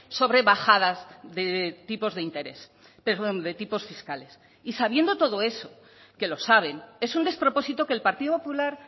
sobre bajadas de tipos de interés perdón de tipos fiscales y sabiendo todo eso que lo saben es un despropósito que el partido popular